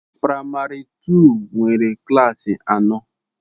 Praịmari tuu nwere klassị anọ